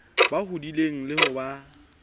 ba hodileng le ho ba